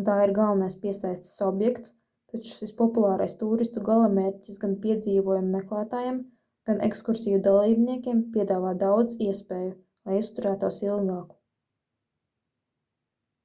un tā ir galvenais piesaistes objekts taču šis populārais tūristu galamērķis gan piedzīvojumu meklētājiem gan ekskursiju dalībniekiem piedāvā daudz iespēju lai uzturētos ilgāk